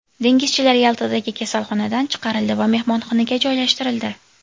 Dengizchilar Yaltadagi kasalxonadan chiqarildi va mehmonxonaga joylashtirildi.